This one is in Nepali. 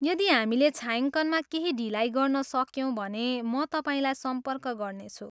यदि हामीले छायाङ्कनमा केही ढिलाइ गर्न सक्यौँ भने म तपाईँलाई सम्पर्क गर्नेछु।